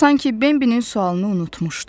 Sanki Bimbinin sualını unutmuşdu.